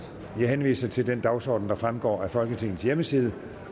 jeg henviser til den dagsorden der fremgår af folketingets hjemmeside